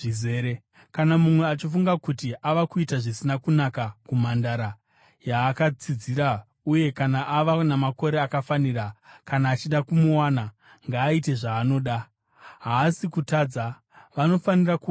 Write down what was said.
Kana mumwe achifunga kuti ava kuita zvisina kunaka kumhandara yaakatsidzira, uye kana ava namakore akafanira kana achida kumuwana, ngaaite zvaanoda. Haasi kutadza. Vanofanira kuwanana.